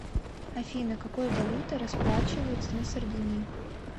афина какой валютой расплачиваются на сардинии